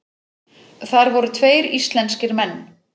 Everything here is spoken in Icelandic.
Þar voru tveir íslenskir menn.